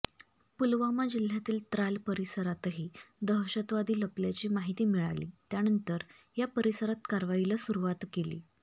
पुलवामा जिल्ह्यातील त्राल परिसरातही दहशतवादी लपल्याची माहिती मिळाली त्यानंतर या परिसरात कारवाईला सुरुवात केली